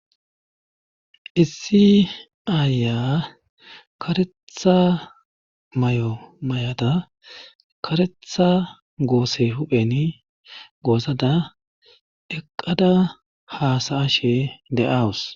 issi aaya karetha mayo mayada karetha goose huphen goosada eqqada haasayashe de'awus